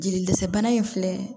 Jeli dɛsɛ bana in filɛ